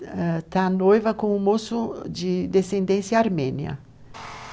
está noiva com um moço de descendência armênia.